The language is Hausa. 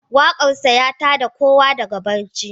Waƙarsa, ya ta da kowa daga barci.